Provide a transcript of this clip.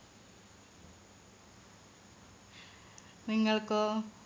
നിങ്ങൾക്കോ